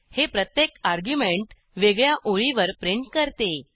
हे प्रत्येक अर्ग्युमेंट वेगळ्या ओळीवर प्रिंट करते